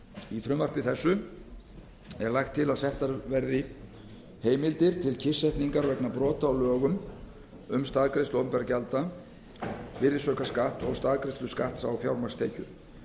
í frumvarpi þessu er lagt til að þetta verði heimildir til kyrrsetningar vegna brota á lögum um staðgreiðslu opinberra gjalda virðisaukaskatt og staðgreiðslu skatts á fjármagnstekjur